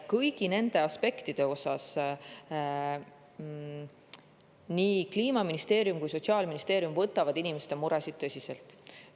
Kõigi nende aspektide puhul nii Kliimaministeerium kui ka Sotsiaalministeerium võtavad inimeste muresid tõsiselt.